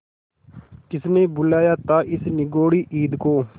किसने बुलाया था इस निगौड़ी ईद को